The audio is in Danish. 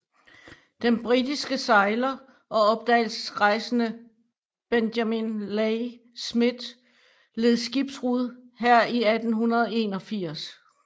Den britiske sejler og opdagelsesrejsende Benjamin Leigh Smith loed skibbrud her i 1881